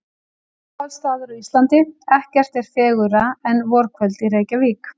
Uppáhalds staður á Íslandi: Ekkert er fegurra en vorkvöld í Reykjavík